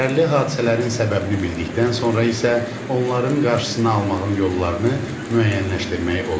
Zərərli hadisələrin səbəbini bildikdən sonra isə onların qarşısını almağın yollarını müəyyənləşdirmək olar.